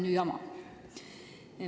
– ju jama.